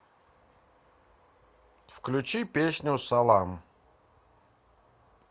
включи песню салам